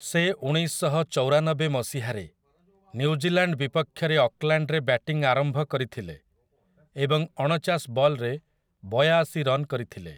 ସେ ଉଣେଇଶଶହଚଉରାନବେ ମସିହାରେ ନ୍ୟୁଜିଲାଣ୍ଡ୍ ବିପକ୍ଷରେ ଅକ୍ଲାଣ୍ଡ୍‌ରେ ବ୍ୟାଟିଂ ଆରମ୍ଭ କରିଥିଲେ ଏବଂ ଅଣଚାଶ ବଲ୍‌ରେ ବୟାଶି ରନ୍ କରିଥିଲେ ।